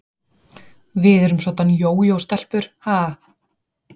Við erum soddan jójó-stelpur, ha?